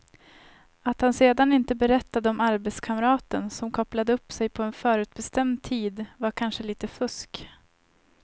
Att han sedan inte berättade om arbetskamraten som kopplade upp sig på en förutbestämd tid var kanske lite fusk.